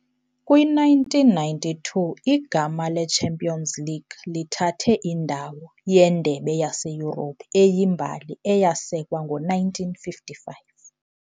Kwi-1992, igama le-"Champions League" lithathe indawo "yeNdebe yaseYurophu" eyimbali, eyasekwa ngo-1955.